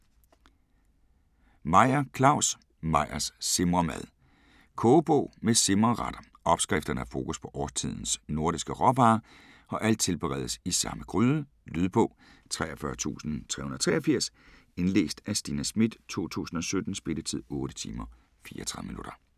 Meyer, Claus: Meyers simremad Kogebog med simreretter. Opskrifterne har fokus på årstidens nordiske råvarer og alt tilberedes i samme gryde. Lydbog 43383 Indlæst af Stina Schmidt, 2017. Spilletid: 8 timer, 34 minutter.